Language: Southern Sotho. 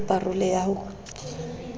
ya pa role ya ho